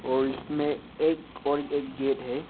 और इसमें एक और गेट है।